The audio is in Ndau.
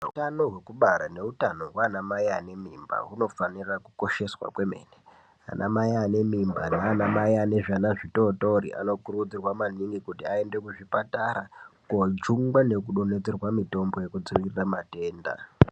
Utano hwekubara neutano hwana mai ane mimba hunofanira kukosheswa kwemene ana mai ane mimba nana mai ane zvana zvitotori anokurudzirwa maningi kuti aende kuzvipatara kojungwa nekudonhedzerwa mitombo yekudzivirira matenda.